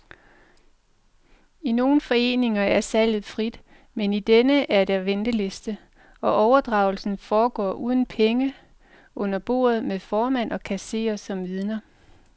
I nogle foreninger er salget frit, men i denne er der venteliste, og overdragelsen foregår uden penge under bordet med formand og kasserer som vidner.